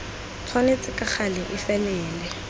tshwanetse ka gale e felele